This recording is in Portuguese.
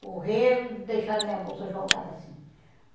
Correram e deixaram minha bolsa jogada assim.